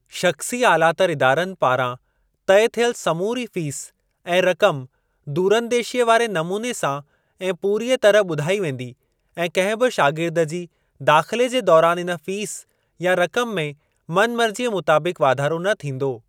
शख़्सी आलातर इदारनि पारां तइ थियल समूरी फ़ीस ऐं रक़म दूरंदेशीअ वारे नमूने सां ऐं पूरीअ तरह ॿुधाई वेंदी ऐं कहिं बि शागिर्द जी दाख़िले जे दौरान इन फ़ीस या रक़म में मन मर्जीअ मुताबिकु़ वाधारो न थींदो।